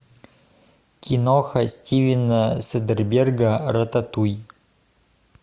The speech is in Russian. киноха стивена содерберга рататуй